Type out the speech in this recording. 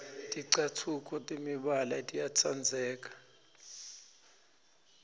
ticatfuco temibala tiyatsandzeka